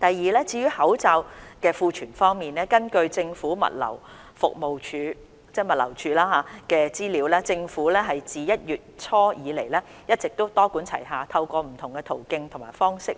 二至於口罩的庫存方面，根據政府物流服務署的資料，政府自1月初以來一直多管齊下，透過不同途徑和方式，